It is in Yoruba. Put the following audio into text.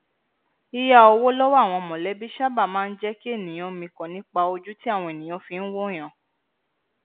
yíyá owó lọwọ àwọn mọlẹbí sáabà máa n jẹ kí ènìyàn mikàn nípa ojú tí àwọn ènìyàn fi n wòyàn